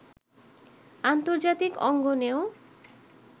আন্তর্জাতিক অঙ্গনেও